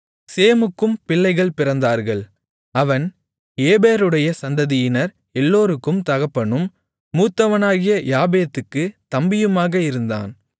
சேமுக்கும் பிள்ளைகள் பிறந்தார்கள் அவன் ஏபேருடைய சந்ததியினர் எல்லோருக்கும் தகப்பனும் மூத்தவனாகிய யாப்பேத்துக்குத் தம்பியுமாக இருந்தான்